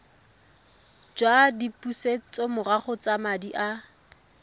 jwa dipusetsomorago tsa madi a